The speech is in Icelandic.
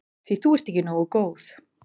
Því þú ert ekki nógu góð.